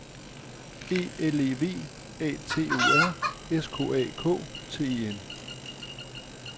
E L E V A T O R S K A K T E N